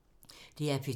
DR P2